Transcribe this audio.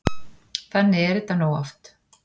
Þannig er þetta nú oft.